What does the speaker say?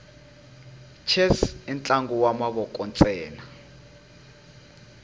chess intlangu wamavoko nsena